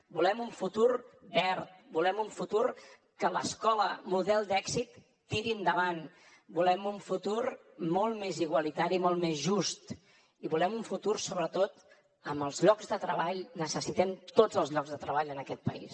volem un futur verd volem un futur que l’escola model d’èxit tiri endavant volem un futur molt més igualitari molt més just i volem un futur sobretot amb els llocs de treball necessitem tots els llocs de treball en aquest país